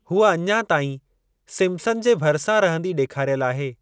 हूअ अञा ताईं सिम्पसन जे भरिसां रहंदी ॾेखारियल आहे।